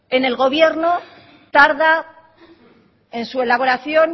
en el gobierno tarda en su elaboración